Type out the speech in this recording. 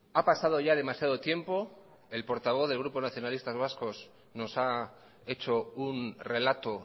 ha pasado ya demasiado tiempo el portavoz del grupo nacionalistas vascos nos ha hecho un relato